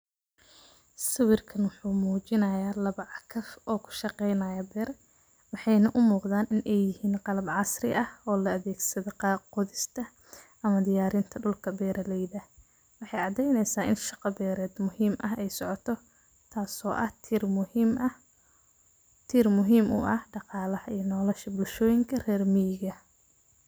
sawirkan wuxu munijanaya labo cagaf oo kushaqeynayo bir, waxaynah umuqdan inay yihin qalab casri ah oo la adhegsade qodhista am,a diyarinta dulka beraleyda, waxay cadeyneysa in shaqa bered muhim ah ay socoto tas oo ah tir muhim uah daqalaha ama nolosha bulshoyinka rer miga.